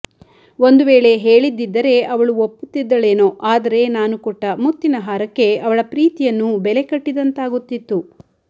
ಒಂದು ವೇಳೆ ಹೇಳಿದ್ದಿದ್ದರೆ ಅವಳು ಒಪ್ಪುತ್ತಿದ್ದಳೇನೋ ಆದರೆ ನಾನು ಕೊಟ್ಟ ಮುತ್ತಿನ ಹಾರಕ್ಕೆ ಅವಳ ಪ್ರೀತಿಯನ್ನು ಬೆಲೆ ಕಟ್ಟಿದಂತಾಗುತ್ತಿತ್ತು